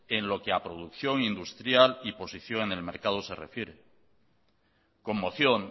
en lo que ha producción industrial y posición en el mercado se refiere conmoción